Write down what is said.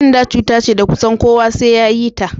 Ƙenda cuta ce da kusan kowa sai yayi ta